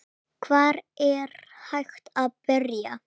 Hvar er hægt að byrja?